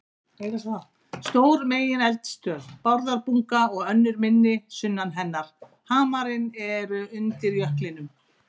Stór megineldstöð, Bárðarbunga, og önnur minni sunnan hennar, Hamarinn, eru undir jöklinum.